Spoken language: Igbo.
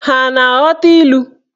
Ha a na-aghọta ilu?